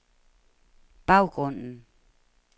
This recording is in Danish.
baggrunden